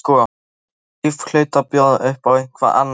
Þetta líf hlaut að bjóða upp á eitthvað annað.